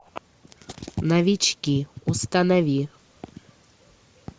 новички установи